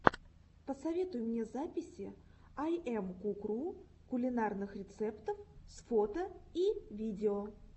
посоветуй мне записи айэмкукру кулинарных рецептов с фото и видео